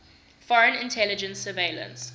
foreign intelligence surveillance